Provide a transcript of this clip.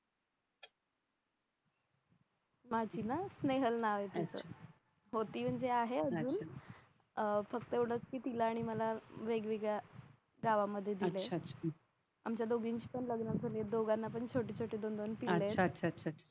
माझी ना स्नेहल नाव ये तीच होती म्हणजे आहे अजून अह फक्त एवढंच की तिला आणि मला वेगवेगळ्या गावानं मध्ये दिलंय आमच्या दोघींची पण लग्न झालेत दोघांना पण छोटी छोटी दोन दोन मुलं येत